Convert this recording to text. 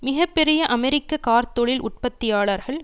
மிக பெரிய அமெரிக்க கார்த்தொழில் உற்பத்தியாளர்கள்